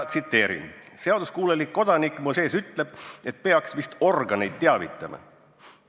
Tsiteerin: "Seaduskuulelik kodanik mu sees ütleb, et peaks vist organeid teavitama.